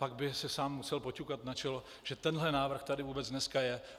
Pak by si sám musel poťukat na čelo, že tenhle návrh tady vůbec dneska je.